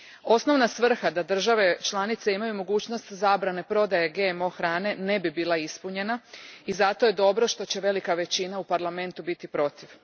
Osnovna svrha da države članice imaju mogućnost zbrane prodaje GMO hrane ne bi bila ispunjena i zato je dobro što će velika većina u Parlamentu biti protiv.